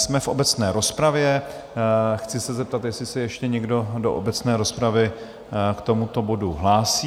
Jsme v obecné rozpravě, chci se zeptat, jestli se ještě někdo do obecné rozpravy k tomuto bodu hlásí?